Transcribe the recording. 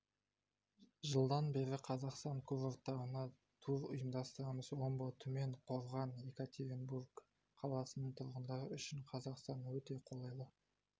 жылдан бері қазақстан курорттарына тур ұйымдастырамыз омбы түмен қорған екатеринбург қаласының тұрғындары үшін қазақстан өте қолайлы